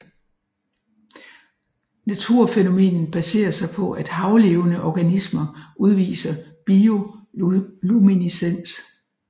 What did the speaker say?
Naturfænomenet baserer sig på at havlevende organismer udviser bioluminiscens